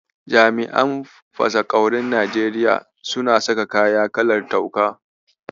Jami'an fasaƙaurin Najeriya suna saka kaya kalar tuka.